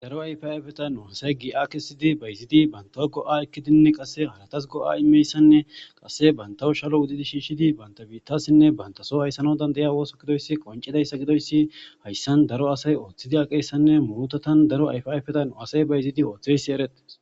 Daro ayfaayfetan uansay gi akesidi bayiziidi bantaw go7a ekkidinni qasse halatas go7a imeyssanne qasse bantawu shalo wudidi shiishshidi banta biittasinne bantaso hayssano dandaya wooso gidoyssi qoncidayssa gidoyssi hayssan daro asay ooththidi aqeessanne muutatan daro ayfiayfetan u asay bayiziidi ooththeysi eretes.